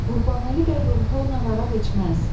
Qurbanəli bəy rumka ilə araq içməz.